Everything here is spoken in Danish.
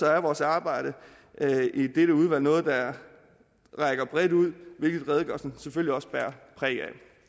er vores arbejde i dette udvalg noget der rækker bredt ud hvilket redegørelsen selvfølgelig også bærer præg af